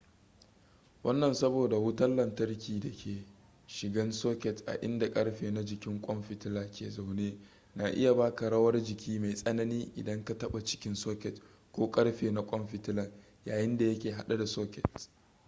wannan saboda wutan lantarki da ke shigan socket a inda karfe na jikin kwan fitila ke zaune na iya baka rawar jiki mai tsanani idan ka taba cikin socket ko karfe na kwan fitilan yayinda yake hade da socket